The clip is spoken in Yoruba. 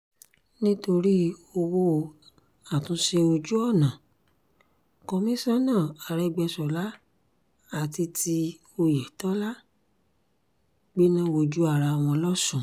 nítorí ọwọ́ àtúnṣe ojú-ọ̀nà kọmíṣánná àrégbèṣọlá àti ti oyetola gbéná wójú ara wọn lọ́sùn